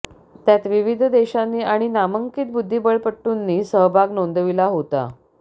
त्यात विविध देशांनी आणि नामांकित बुद्धिबळपटूंनी सहभाग नोंदविला होता